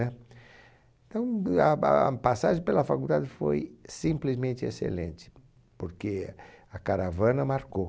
Então, a ba a passagem pela faculdade foi simplesmente excelente, porque a caravana marcou.